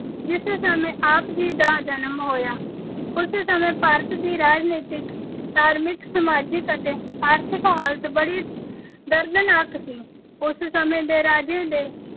ਜਿਸ ਸਮੇਂ ਆਪ ਜੀ ਦਾ ਜਨਮ ਹੋਇਆ, ਉਸ ਸਮੇਂ ਭਾਰਤ ਦੀ ਰਾਜਨੀਤਿਕ, ਧਾਰਮਿਕ, ਸਮਾਜਿਕ ਅਤੇ ਆਰਥਿਕ ਹਾਲਤ ਬੜੀ ਦਰਦਨਾਕ ਸੀ। ਉਸ ਸਮੇਂ ਦੇ ਰਾਜੇ ਦੇ